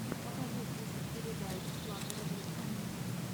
покажи список передач флаттера грина